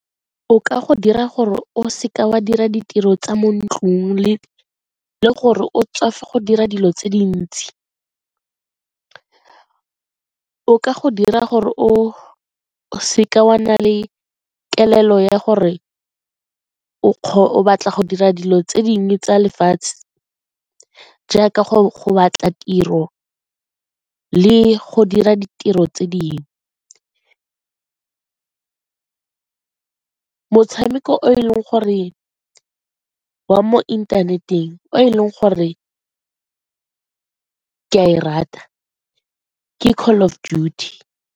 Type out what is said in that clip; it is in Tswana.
O ka go dira gore o seke wa dira ditiro tsa mo ntlung le gore o tswafe go dira dilo tse dintsi, o ka go dira gore o seke wa nna le kelello ya gore o o batla go dira dilo tse dingwe tsa lefatshe jaaka go batla tiro le go dira ditiro tse dingwe. Motshameko o e leng gore wa mo inthaneteng o e leng gore ke a e rata ke Call of Duty.